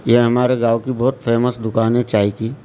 यह हमारे गांव की बहुत फेमस दुकान है चाय की।